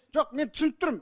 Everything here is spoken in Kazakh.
жоқ мен түсініп тұрмын